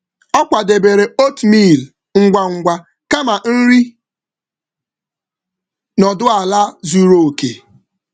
Ọ kwadebere oatmeal ngwa ngwa kama nri nọdụ ala zuru oke.